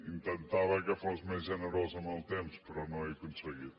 intentava que fos més generosa amb el temps però no ho he aconseguit